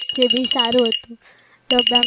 જે વહી સારું હતું lockdown